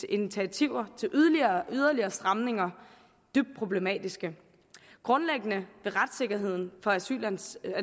initiativer til yderligere stramninger dybt problematiske grundlæggende vil retssikkerheden for asylansøgere